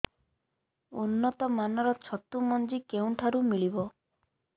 ଉନ୍ନତ ମାନର ଛତୁ ମଞ୍ଜି କେଉଁ ଠାରୁ ମିଳିବ